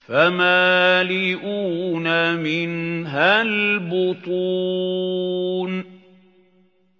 فَمَالِئُونَ مِنْهَا الْبُطُونَ